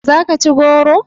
Za ki ci goro?